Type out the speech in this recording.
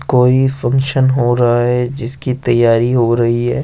कोई फंक्शन हो रहा है जिसकी तैयारी हो रही है।